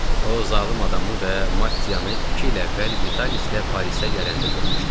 O zalım adamı və Mattianı iki il əvvəl Vitalislə Parisə gələndə görmüşdüm.